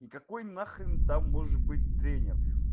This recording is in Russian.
и какой на хрен там может быть тренер